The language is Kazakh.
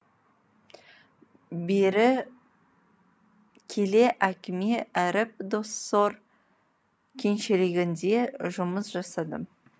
бері келе әкеме іріп доссор кеншілігінде жұмыс жасадым